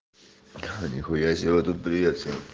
а нихуя себе вот тут привет всем